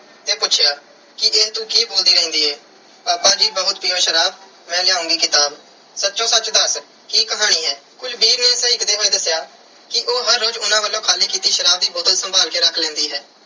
ਤੇ ਪੁੱਛਿਆ ਕਿ ਇਹ ਤੂੰ ਕੀ ਬੋਲਦੀ ਰਹਿੰਦੀ ਏ ਪਾਪਾ ਜੀ ਬਹੁਤ ਪੀਓ ਸ਼ਰਾਬ, ਮੈਂ ਲਿਆਉਂਗੀ ਕਿਤਾਬ। ਸੱਚੋ ਸੱਚ ਦੱਸ ਕੀ ਕਹਾਣੀ ਏ। ਕੁਲਵੀਰ ਨੇ ਸਹਿਕਦੇ ਹੋਏ ਦੱਸਿਆ ਕਿ ਉਹ ਹਰ ਰੋਜ਼ ਉਹਨਾਂ ਵੱਲੋਂ ਖਾਲੀ ਕੀਤੀ ਸ਼ਰਾਬ ਦੀ ਬੋਤਲ ਸੰਭਾਲ ਕੇ ਰੱਖ ਲੈਂਦੀ ਹੈ